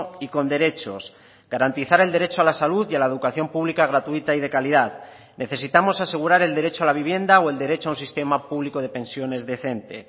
y con derechos garantizar el derecho a la salud y a la educación pública gratuita y de calidad necesitamos asegurar el derecho a la vivienda o el derecho a un sistema público de pensiones decente